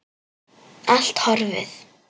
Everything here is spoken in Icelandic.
Allt horfið.